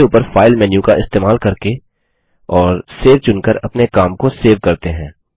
चलिए सबसे ऊपर फाइल मेन्यू का इस्तेमाल करके और सेव चुनकर अपने काम को सेव करते हैं